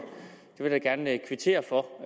jeg da gerne kvittere for